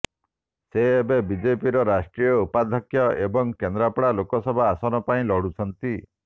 ସେ ଏବେ ବିଜେପିର ରାଷ୍ଟ୍ରୀୟ ଉପାଧ୍ୟକ୍ଷ ଏବଂ କେନ୍ଦ୍ରାପଡ଼ା ଲୋକସଭା ଆସନ ପାଇଁ ଲଢ଼ୁଛନ୍ତି